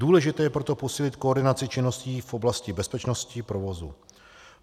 Důležité je proto posílit koordinaci činností v oblasti bezpečnosti provozu.